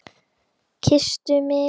Kysstu mig!